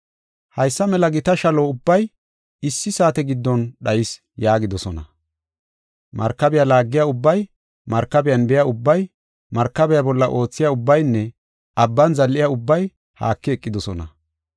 Haysa mela gita shalo ubbay issi saate giddon dhayis’ yaagidosona. “Markabiya laagiya ubbay, markabiyan biya ubbay, markabiya bolla oothiya ubbaynne abban zal7iya ubbay haaki eqidosona.